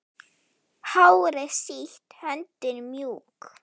Hárið sítt, höndin mjúk.